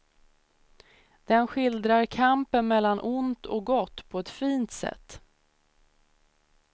Den skildrar kampen mellan ont och gott på ett fint sätt.